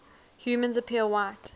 humans appear white